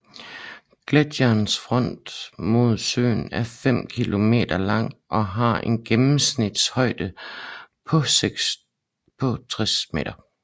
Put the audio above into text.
Gletsjerens front mod søen er 5 kilometer lang og har en gennemsnitlig højde på 60 meter